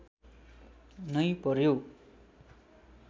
नै पर्‍यो